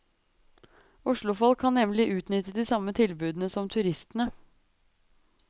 Oslofolk kan nemlig utnytte de samme tilbudene som turistene.